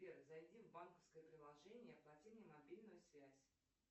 сбер зайди в банковское приложение и оплати мне мобильную связь